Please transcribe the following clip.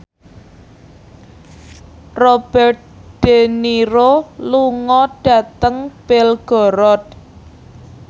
Robert de Niro lunga dhateng Belgorod